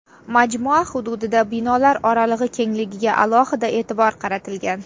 Majmua hududida binolar oralig‘i kengligiga alohida e’tibor qaratilgan.